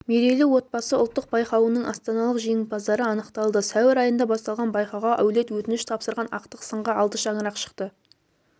мерейлі отбасы ұлттық байқауының астаналық жеңімпаздары анықталды сәуір айында басталған байқауға әулет өтініш тапсырған ақтық сынға алты шаңырақ шықты